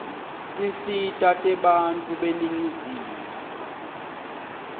tinsita tebantfu beningizimu